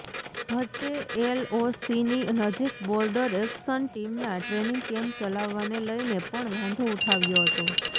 ભટ્ટે એલઓસીની નજીક બોર્ડર એક્શન ટીમના ટ્રેનિંગ કેમ્પ ચલાવવાને લઇને પણ વાંધો ઉઠાવ્યો હતો